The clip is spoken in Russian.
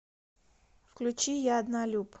включи я однолюб